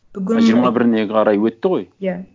бүгін ы жиырма біріне қарай өтті ғой иә